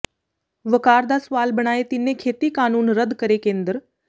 ਵਕਾਰ ਦਾ ਸਵਾਲ ਬਣਾਏ ਤਿੰਨੇ ਖੇਤੀ ਕਾਨੂੰਨ ਰੱਦ ਕਰੇ ਕੇਂਦਰ